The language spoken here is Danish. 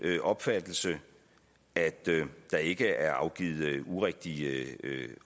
opfattelse at der ikke er afgivet urigtige